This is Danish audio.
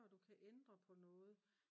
før du kan ændre på noget